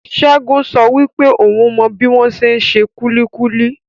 Segun sọ wípé oun mọ bi wọn ṣe n ṣe kulikuli.